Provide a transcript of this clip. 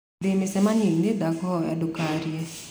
ndĩ mĩcemanio-inĩ, ndakũhoya ndũkaarie